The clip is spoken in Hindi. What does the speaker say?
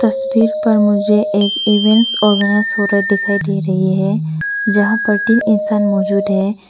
तस्वीर पर मुझे एक इवेंट्स ऑर्गेनाइज हो रहा है दिखाई दे रही है जहां पर तीन इंसान मौजूद है।